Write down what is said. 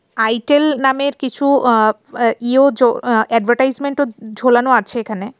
Itel নামের কিছু আ আ্য ইয়ো চো অ আ্যডবেটাইজমেন্ট ও ঝোলানো আছে এখানে।